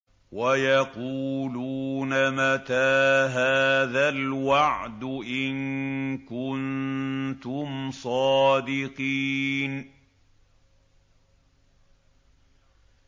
وَيَقُولُونَ مَتَىٰ هَٰذَا الْوَعْدُ إِن كُنتُمْ صَادِقِينَ